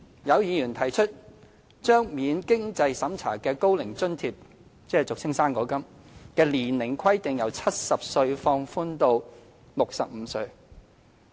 有議員提出把免經濟審查的高齡津貼的年齡下限由70歲放寬至65歲。